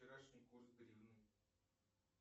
вчерашний курс гривны